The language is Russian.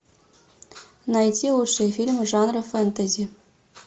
найти лучшие фильмы жанра фэнтези